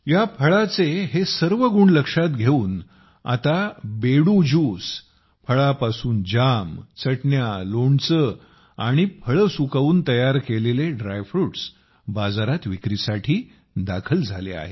या फळाचे हे सर्व गुण लक्षात घेऊन आता बेडू ज्यूस फळापासून जाम चटण्या लोणचे आणि फळे सुकवून तयार केलेले ड्रायफ्रूट्स बाजारात विक्रीसाठी दाखल झाले आहेत